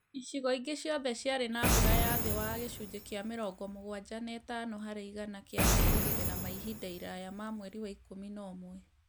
Icigo ingĩ ciothe ciarĩ na mbura ya thĩ wa gicunjĩ kĩa mĩrongo mugwanja na ĩtano harĩ igana kĩa merĩgĩrĩra ma ihinda iraya ma mweri wa ikũmi na ũmwe